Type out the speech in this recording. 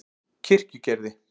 Kirkjugerði